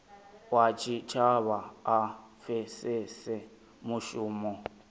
wa tshitshavha a pfesese mushumo